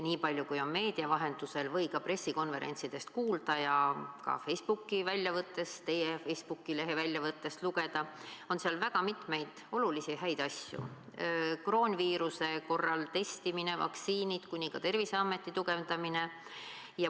Niipalju, kui on meedia vahendusel või ka pressikonverentsidelt kuulda ja ka teie Facebooki lehe väljavõttest lugeda, on seal väga mitmeid olulisi ja häid asju: kroonviiruse korral testimine, vaktsiinid, ka Terviseameti tugevdamine.